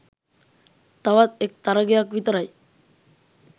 තවත් එක් තරගයක් විතරයි